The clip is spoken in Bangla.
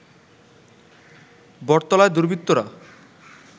বটতলায় দুর্বৃত্তরা